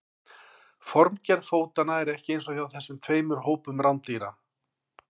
Formgerð fótanna er ekki eins hjá þessum tveimur hópum rándýra.